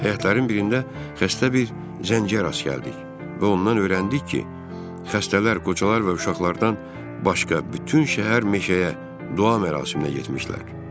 Həyatların birində xəstə bir zəncərə rast gəldik və ondan öyrəndik ki, xəstələr, qocalar və uşaqlardan başqa bütün şəhər meşəyə dua mərasiminə getmişdilər.